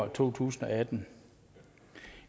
to tusind og atten